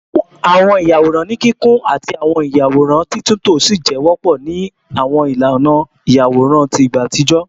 Awọn iyaworan ni kikun ati awọn iyaworan titunto si jẹ wọpọ ni awọn ilana iyaworan ti igba atijọ